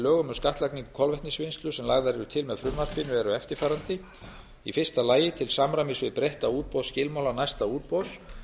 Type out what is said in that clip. lögum um skattlagningu kolvetnisvinnslu sem lagðar eru til með frumvarpinu eru eftirfarandi fyrsta til samræmis við breytta útboðsskilmála næsta útboðs